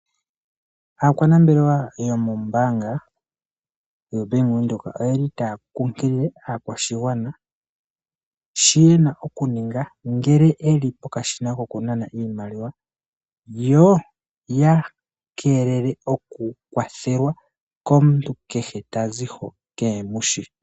Aakwanambelewa yomo mbanga yo Bank Widheok oyeli ta kukilile akwashingwana shi yena okuninga ngele eli pokashina kokunana iimaliwa , yo oya kelele oku kwathelwa komuntu kehe tazi ho kemushi.